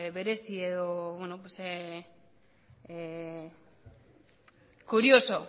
berezi edo curioso